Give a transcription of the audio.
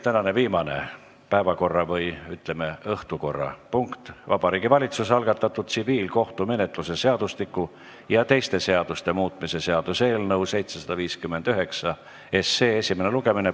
Tänane viimane päevakorra- või, ütleme, õhtukorrapunkt: Vabariigi Valitsuse algatatud tsiviilkohtumenetluse seadustiku ja teiste seaduste muutmise seaduse eelnõu 759 esimene lugemine.